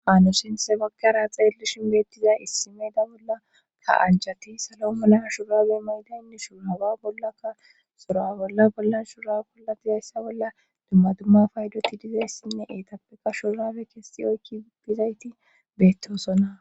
ano shenthe bakkara xeellishin beettiza issimeeda bolla ka anchati salo malaa shurabe mayda inne shuraba bollakka sura bolla bolla shura polla dizayssa bolla dumma dumma faydoti dizayssinne etappeka shurabe kestiyoykki dizayti beettosona